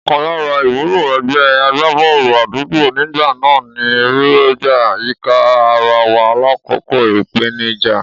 Ọ̀kan lára ìwúlò ẹgbẹ́ agbábọ́ọ̀lù àdúgbò nígbà náà ni rírọ̀gbà yíka ara wa lákòókò ìpèníjà.